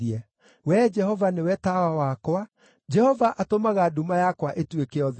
Wee Jehova, nĩwe tawa wakwa, Jehova atũmaga nduma yakwa ĩtuĩke ũtheri.